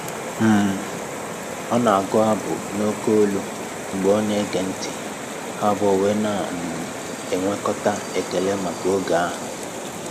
um Ọ na agụ abụ n'oke ólú mgbe ọ na ege ntị, ha abụọ wee na um enwekọta ekele maka oge ahụ